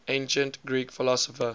ancient greek philosopher